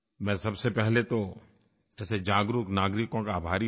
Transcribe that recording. मैं सबसे पहले तो ऐसे जागरूक नागरिकों का आभारी हूँ